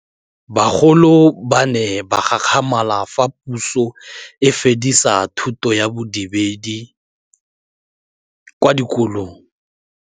Bagolo ba ne ba gakgamala fa Pusô e fedisa thutô ya Bodumedi kwa dikolong.